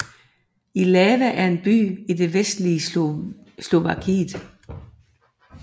Ilava er en by i det vestlige Slovakiet